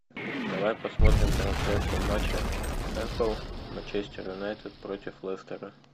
давай посмотрим трансляцию матча апл манчестер юнайтед против лестера